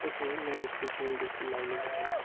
येथे लाईट चे पोल देखील लावलेले आहेत.